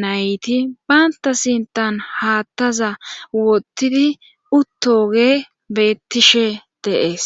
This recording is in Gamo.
nayti baynta sintan haattaza wottidi uttoge bettishe de'ees